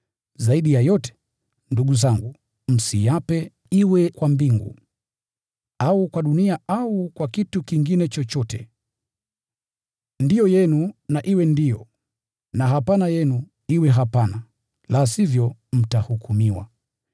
Zaidi ya yote, ndugu zangu, msiape, iwe kwa mbingu au kwa dunia, au kwa kitu kingine chochote. “Ndiyo” yenu na iwe ndiyo, na “Hapana” yenu iwe hapana, la sivyo mtahukumiwa.